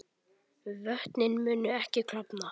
Og hvað Jón, og hvað?